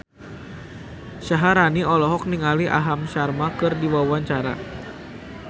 Syaharani olohok ningali Aham Sharma keur diwawancara